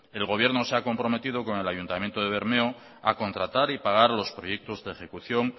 el gobierno se ha comprometido con el ayuntamiento de bermeo a contratar y pagar los proyectos de ejecución